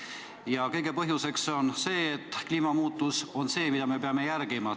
Kõige selle põhjuseks on see, et me peame kliimamuutuse ideoloogiat järgima.